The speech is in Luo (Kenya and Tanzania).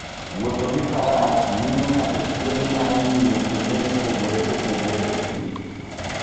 Wuotho gi Faras miyo ng'ato thuolo mar ng'iyo kuonde mopogore opogore e thim.